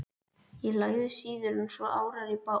Ég lagði síður en svo árar í bát.